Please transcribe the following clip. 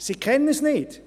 Sie kennen es nicht;